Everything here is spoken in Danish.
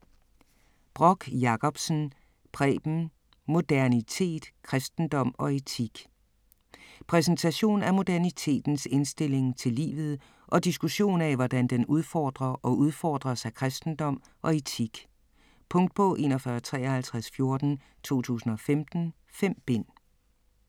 Brock Jacobsen, Preben: Modernitet: kristendom og etik Præsentation af modernitetens indstilling til livet og diskussion af, hvordan den udfordrer og udfordres af kristendom og etik. Punktbog 415314 2015. 5 bind.